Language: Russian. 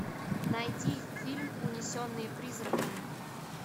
найди фильм унесенные призраками